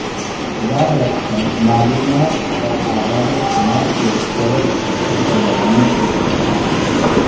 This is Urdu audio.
یاد رکھیں معلومات اور اعداد و شمار کے اسٹوریج سسٹم کو بڑھانے کے امکانات